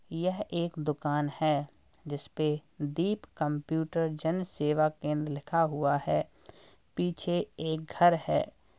यह एक दुकान है जिसपे दीप कंप्यूटर जन सेवा केंद्र लिखा हुआ है। पीछे एक घर है।